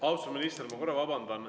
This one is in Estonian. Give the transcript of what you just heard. Austatud minister, ma korra vabandan.